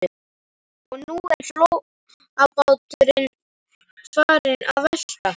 Og nú er flóabáturinn farinn að velta.